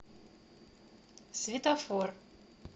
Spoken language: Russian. светофор